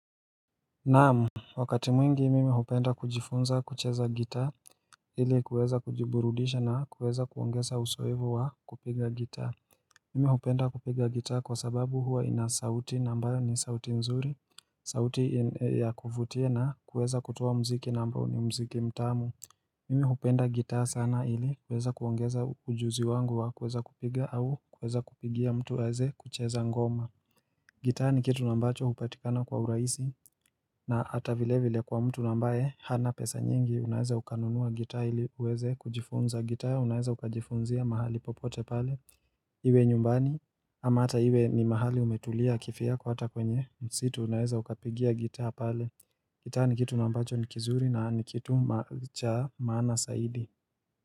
Naam Wakati mwingi mimi hupenda kujifunza kucheza gitaa ili kuweza kujiburudisha na kuweza kuongeza uzoefu wa kupiga gitaa Mimi hupenda kupiga gitaa kwa sababu huwa inasauti na ambayo ni sauti nzuri, sauti ya kuvutia na kuweza kutoa muziki na ambao ni muziki mtamu Mimi hupenda gitaa sana ili kuweza kuongeza ujuzi wangu wa kuweza kupiga au kuweza kupigia mtu aweze kucheza ngoma gitaa ni kitu ambacho hupatikana kwa urahisi na hata vile vile kwa mtu ambaye hana pesa nyingi unaweza ukanunua gitaa ili uweze kujifunza gitaa unaeza ukajifunzia mahali popote pale Iwe nyumbani ama hata iwe ni mahali umetulia kivyako kwa hata kwenye msitu unaweza ukapigia gitaa pale gitaa ni kitu ambacho ni kizuri na ni kitu cha maana zaidi.